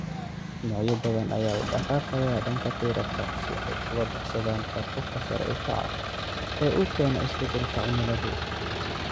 Noocyo badan ayaa u dhaqaaqaya dhanka tirarka si ay uga baxsadaan heerkulka sare u kaca ee uu keeno isbedelka cimiladu.